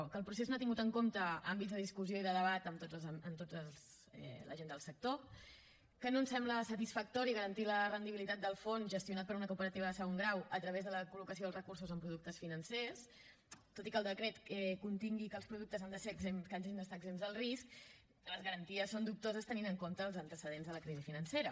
que el procés no ha tingut em compte àmbits de discussió i de debat amb tota la gent del sector que no ens sembla satisfactori garantir la rendibilitat del fons gestionat per una cooperativa de segon grau a través de la col·locació dels recursos en productes financers tot i que el decret contingui que els productes hagin d’estar exempts d’alt risc les garanties són dubtoses tenint en compte els antecedents de la crisi financera